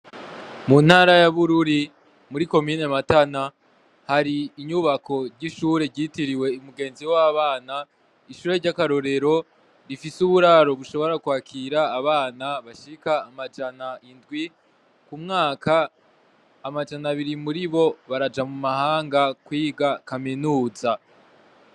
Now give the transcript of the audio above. Mu ntara yabururi muri ko miyne matana hari inyubako ry'ishure ryitiriwe imugenzi w'abana ishure ry'akarorero rifise uburaro bushobora kwakira abana bashika amajana indwi ku mwaka amajana abiri muri bo baraja mu mahanga kwiga kaminuza.